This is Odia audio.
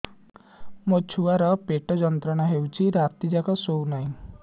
ମୋ ଛୁଆର ପେଟ ଯନ୍ତ୍ରଣା ହେଉଛି ରାତି ଯାକ ଶୋଇନାହିଁ